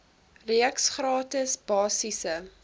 reeks gratis basiese